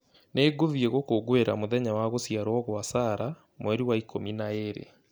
Nĩngũthiĩ gũkũngũĩra mũthenya wa gũciarwo kwa Sarah mweri wa ikũmi na ĩĩrĩ